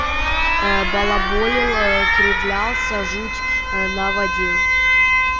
ээ балаболил ээ кривлялся жуть ээ наводил